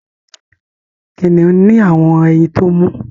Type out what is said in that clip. kiniun ni awọn ẹyìn tó mú